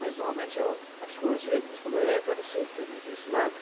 Mas, normalmente, eu a psicologia, que nem você falou, entra nesse ne ne ne nesse lado.